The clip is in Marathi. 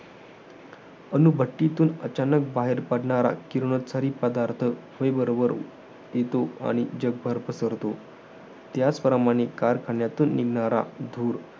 अणुभट्टीतून अचानक बाहेर पडणारा, किरणोत्सारी पदार्थ हवे बरोबर येतो, आणि जगभर पसरतो. त्याचप्रमाणे कारखान्यातून निघणारा धूर